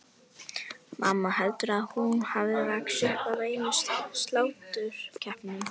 Mamma, heldurðu að hún hafi vaxið upp af einum sláturkeppnum?